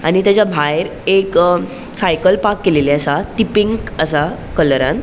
आणि तेजा भायर एक अ साइकल पार्क केलेली असा ती पिंक असा कलरान .